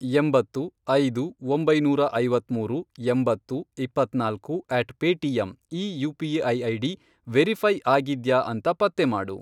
ಎಂಬತ್ತು, ಐದು, ಒಂಬೈನೂರ ಐವತ್ಮೂರು, ಎಂಬತ್ತು, ಇಪ್ಪತ್ನಾಲ್ಕು, ಅಟ್ ಪೇಟಿಎಮ್ ಈ ಯು.ಪಿ.ಐ. ಐಡಿ ವೆರಿಫೈ಼ ಆಗಿದ್ಯಾ ಅಂತ ಪತ್ತೆ ಮಾಡು.